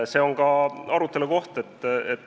See on arutelukoht.